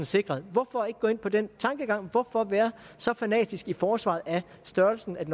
sikret hvorfor ikke gå ind på den tankegang hvorfor være så fanatisk i forsvaret af størrelsen af